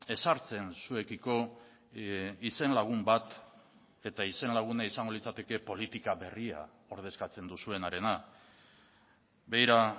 ezartzen zuekiko izen lagun bat eta izen laguna izango litzateke politika berria ordezkatzen duzuenarena begira